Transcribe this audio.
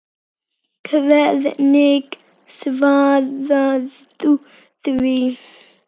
Hvernig svarar þú því?